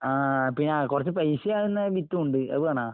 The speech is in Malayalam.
ആഹ് പിന്നാ കൊറച്ച് പൈസയാകുന്ന വിത്തും ഉണ്ട്. അത് വേണാ?